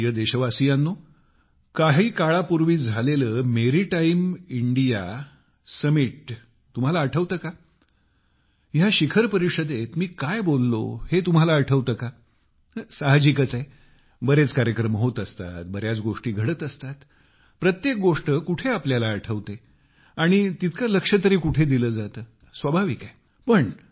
माझ्या प्रिय देशवासियांनो काही काळापूर्वी झालेले मेरीटाईम इंडिया समिट तुम्हाला आठवते का या शिखर परिषदेत मी काय बोललो हे तुम्हाला आठवते का साहजिकच आहे बरेच कार्यक्रम होत असतात बर्याच गोष्टी घडत राहतात प्रत्येक गोष्ट कुठे आपल्याला आठवते आणि तितके लक्ष तरी कुठे दिले जाते स्वाभाविक आहे